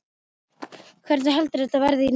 Hvernig heldurðu að þetta verði í nótt?